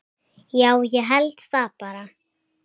Já, ég held það bara.